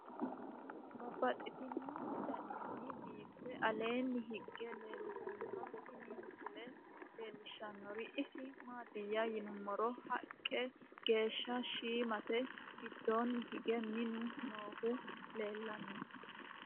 Babaxxittinno daninni biiffe aleenni hige leelittannotti tinni misile lelishshanori isi maattiya yinummoro haqqe geesha shiimmatte gidoonni hige minnu noohu leelanno.